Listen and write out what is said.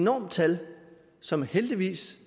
enormt tal som heldigvis